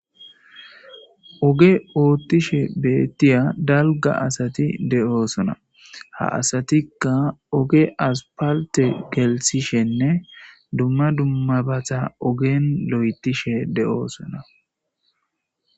oge oottishe beettiya dalga asati de7oo sona ha asatikka oge aspalte gelsishenne dumma dummabata ogen lo7etishe de7oosona